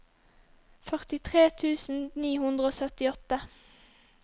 førtitre tusen ni hundre og syttiåtte